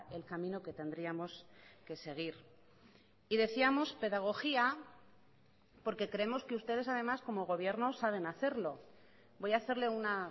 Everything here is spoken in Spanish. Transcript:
el camino que tendríamos que seguir y decíamos pedagogía porque creemos que ustedes además como gobierno saben hacerlo voy a hacerle una